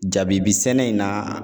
Jabibi sɛnɛ in na